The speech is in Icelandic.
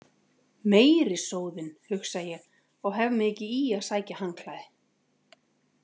Meiri sóðinn, hugsa ég og hef mig ekki í að sækja handklæði.